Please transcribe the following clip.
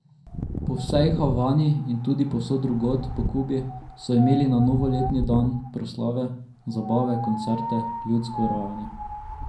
Po vsej Havani in tudi povsod drugod po Kubi so imeli na novoletni dan proslave, zabave, koncerte, ljudsko rajanje.